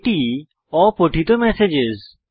এটি অপঠিত ম্যাসেজেস